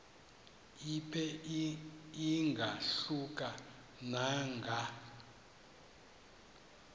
ibe ingahluka nanga